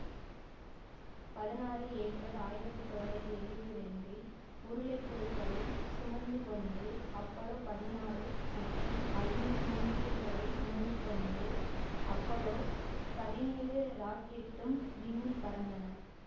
பதினாறு ஏப்ரல் ஆயிரத்தி தொள்ளாயிரத்தி எழுவத்தி இரண்டில்உருளைப்புழுக்களைச் சுமந்துகொண்டு அப்பல்லோ பதினாறு மற்றும் ஐந்து சுண்டெலிகளைச் சுமந்து கொண்டு அப்பல்லோ பதினேழு ராக்கெட்டும் விண்ணில் பறந்தன